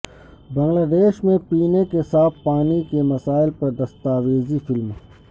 بنگلہ دیش میں پینے کے صاف پانی کے مسائل پر دستاویزی فلم